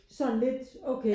Sådan lidt okay